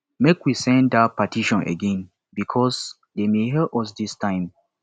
make we send dat petition again because dey may hear us dis time